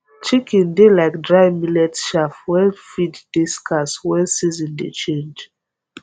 chicken dey like dry millet chaff when feed dey scarce when season dey change